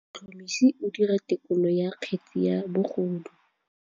Motlhotlhomisi o dira têkolô ya kgetse ya bogodu.